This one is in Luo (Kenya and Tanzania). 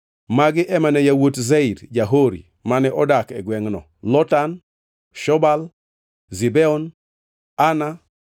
Magi ema ne yawuot Seir ja-Hori, mane odak e gwengʼno: Lotan, Shobal, Zibeon, Ana,